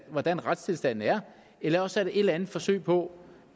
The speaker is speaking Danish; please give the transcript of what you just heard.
hvordan retstilstanden er eller også er det et eller andet forsøg på